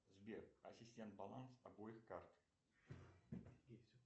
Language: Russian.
сбер ассистент баланс обоих карт